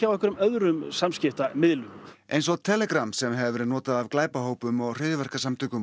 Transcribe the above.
einhverjum öðrum samskiptamiðlum eins og Telegram sem hefur verið notað af glæpahópum og hryðjuverkasamtökum